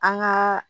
An gaa